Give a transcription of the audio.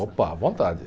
Opa, à vontade.